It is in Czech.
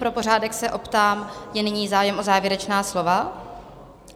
Pro pořádek se optám, je nyní zájem o závěrečná slova?